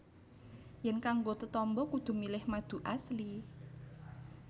Yèn kanggo tetamba kudu milih madu Asli